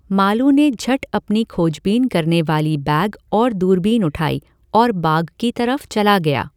मालू ने झट अपनी खोजबीन करने वाली बैग और दूरबीन उठाई और बाग की तरफ़ चला गया।